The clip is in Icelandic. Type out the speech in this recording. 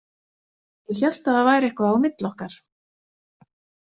Ég hélt að það væri eitthvað á milli okkar